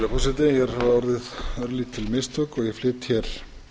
virðulegi forseti hér hafa orðið örlítil mistök ég flyt hér að